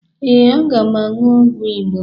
Ee, ana m aṅụ ọgwụ Igbo